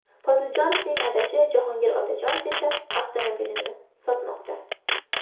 Poziljonovning adashi Jahongir Otajonov esa avtomobilini sotmoqda.